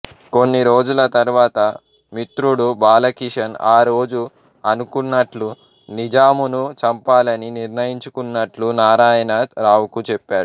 కొన్ని రోజుల తర్వాత మితృడు బాలకిషన్ ఆ రోజు అనుకున్నట్లు నిజామును చంపాలని నిర్ణయించుకున్నట్లు నారాయణ రావుకు చెప్పాడు